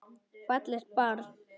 Fallegt barn.